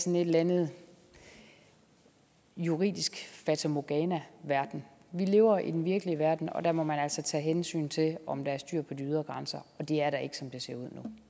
en eller anden juridisk fatamorgana verden vi lever i den virkelige verden og der må man altså tage hensyn til om der er styr på de ydre grænser og det er der ikke som det ser